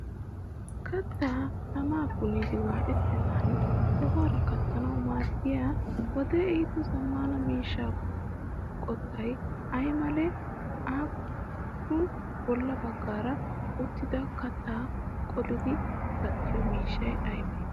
Kattaa tamaa punniiddi waayettennan sohuwaara kattanawu maaddiya wodee ehido zammaana miishshaa qottay ay malee? Appe bolla baggaara uttida kattaa qolididi kattiyo miishshay aybee?